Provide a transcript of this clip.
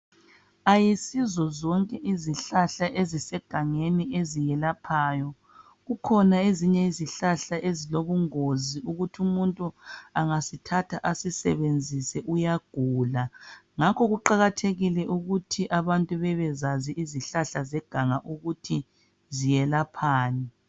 Ayisizo zonke izihlahla ezisegangeni eziyelaphayo kukhona ezinye izihlahla ezilobungozi ukuthi umuntu engasithatha asisebenzise uyagula ngakho kuqakathekile ukuthi abantu bebezazi izhlahla zeganga ziyelaphani